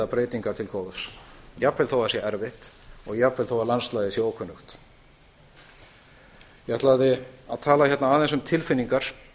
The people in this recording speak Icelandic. breytingar til góðs jafnvel þó að það sé erfitt og jafnvel þó að landslagið sé ókunnugt ég ætlaði að tala hérna aðeins um tilfinningar